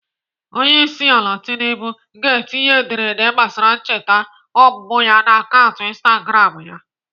Onyeisiala Tinubu ga-etinye ederede gbasara ncheta ọmụmụ ya n'akaụntụ Instagram ya.